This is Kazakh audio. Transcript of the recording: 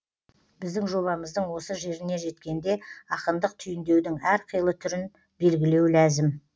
біздің жобамыздың осы жеріне жеткенде ақындық түйіндеудің әр қилы түрін белгілеу ләзім